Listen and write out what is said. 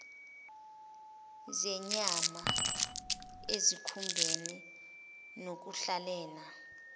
zenyama ezikhumbeni nokuhlahlela